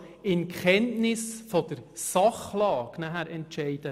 Dementsprechend möchte ich in Kenntnis der Sachlage über die Zahlen entscheiden.